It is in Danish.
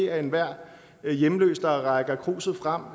at enhver hjemløs der rækker kruset frem